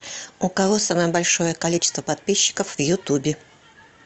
у кого самое большое количество подписчиков в ютубе